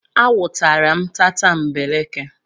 A nwụtara m tatambeleke.